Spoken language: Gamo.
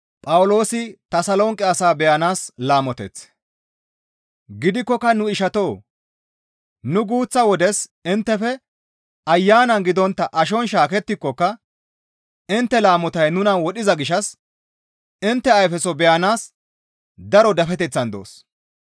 Gidikkoka nu ishatoo! Nu guuththa wodes inttefe Ayanan gidontta ashon shaakettikokka intte laamotay nuna wodhiza gishshas intte ayfeso beyanaas daro dafeteththan doos.